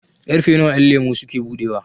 ƙarfe nawa ƴanlemo suke buɗewa?